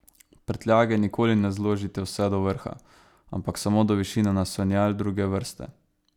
Prtljage nikoli ne zložite vse do vrha, ampak samo do višine naslonjal druge vrste.